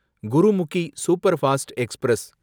Gurmukhi superfast express